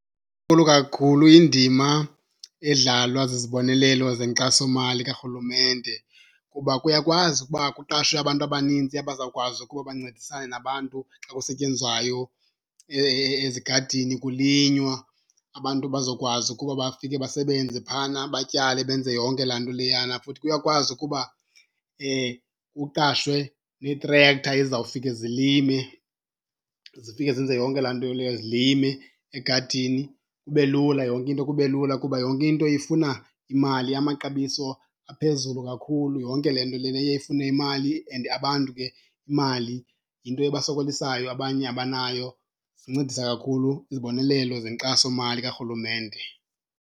Inkulu kakhulu indima edlalwa zizibonelelo zenkxasomali karhulumente kuba kuyakwazi ukuba kuqashwe abantu abaninzi abazawukwazi ukuba bancedisane nabantu xa kusetyenzwayo ezigadini kulinywa. Abantu bazokwazi ukuba bafike basebenze phayana batyale benze yonke laa nto leyana. Futhi kuyakwazi ukuba kuqashwe neetrektha ezizawufika zilime zifike zenze yonke laa nto leya zilime egadini. Kube lula yonke into kube lula kuba yonke into ifuna imali, amaxabiso aphezulu kakhulu. Yonke le nto lena iye ifune imali and abantu ke imali yinto ebasokolisayo, abanye abanayo. Zincedisa kakhulu izibonelelo zenkxasomali karhulumente.